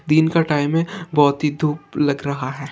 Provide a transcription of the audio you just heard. --दिन का टाइम है बहुत ही धूप लग रहा है।